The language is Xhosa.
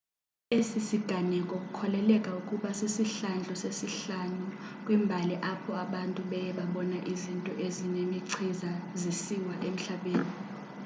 esi siganeko kukholeleka ukuba sisihlandlo sesihlanu kwimbali apho abantu beye babona izinto ezinemichiza zisiwa emhlabeni